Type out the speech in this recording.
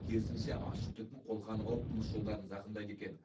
керісінше ащы түтін қолқаны қауып тыныс жолдарын зақымдайды екен